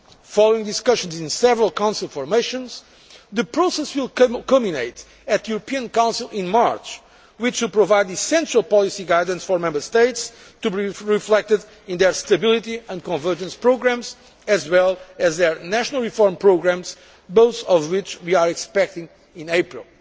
Following discussions in several Council formations, the process will culminate at the European Council in March, which will provide essential policy guidance for Member States, to be reflected in their stability and convergence programmes as well as their national reform programmes, both of which we are expecting in April.